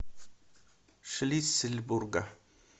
шлиссельбурга